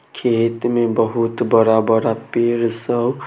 खेत में बहुत बड़ा-बड़ा पेड़ सब --